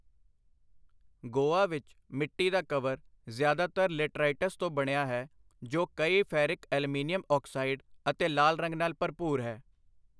ਗੋਆ ਵਿੱਚ ਮਿੱਟੀ ਦਾ ਕਵਰ ਜ਼ਿਆਦਾਤਰ ਲੇਟਰਾਈਟਸ ਤੋਂ ਬਣਿਆ ਹੈ, ਜੋ ਕਈ ਫੈਰਿਕ ਐਲੂਮੀਨੀਅਮ ਆਕਸਾਈਡ ਅਤੇ ਲਾਲ ਰੰਗ ਨਾਲ ਭਰਪੂਰ ਹੈ।